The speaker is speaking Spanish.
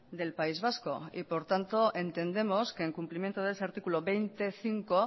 del país vasco y por tanto entendemos que en cumplimiento de ese artículo veinte punto cinco